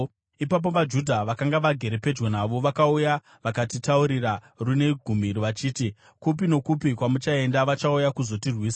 Ipapo vaJudha vakanga vagere pedyo navo vakauya vakatitaurira rune gumi vachiti, “Kupi nokupi kwamuchaenda, vachauya kuzotirwisa.”